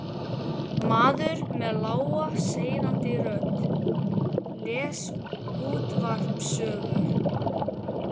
Maður með lága seiðandi rödd les útvarpssögu.